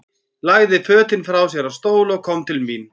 Lagði fötin frá sér á stól og kom til mín.